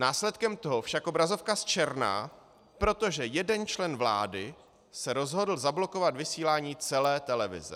Následkem toho však obrazovka zčerná, protože jeden člen vlády se rozhodl zablokovat vysílání celé televize.